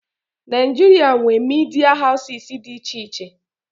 Naịjirịa nwee media houses dị iche iche.